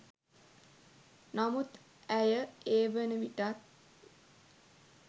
නමුත් ඇය ඒ වන විටත්